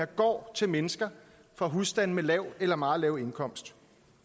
går til mennesker fra husstande med lav eller meget lav indkomst